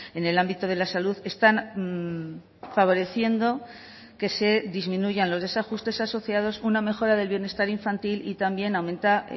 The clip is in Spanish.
en el ámbito de la salud están favoreciendo que se disminuyan los desajustes asociados una mejora del bienestar infantil y también aumenta